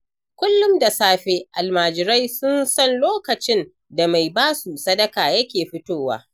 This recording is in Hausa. Kullum da safe almajirai sun san lokacin da mai basu sadaka yake fitowa.